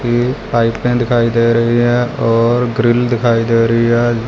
ये पाइपलाइन दिखाई दे रही है और ग्रिल दिखाई दे रही है--